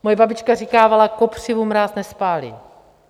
Moje babička říkávala: kopřivu mráz nespálí.